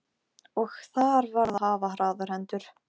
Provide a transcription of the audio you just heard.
En mér fannst einsog hann kallaði á mig.